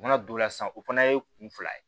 U mana don sisan o fana ye kun fila ye